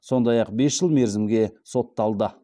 сондай ақ бес жыл мерзімге сотталды